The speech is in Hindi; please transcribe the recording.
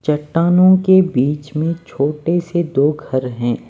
चट्टानों के बीच में छोटे से दो घर हैं।